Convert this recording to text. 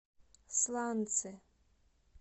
сланцы